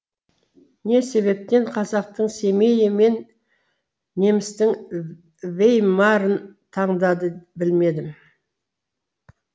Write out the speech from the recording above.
не себептен қазақтың семейі мен немістің веймарын таңдады білмедім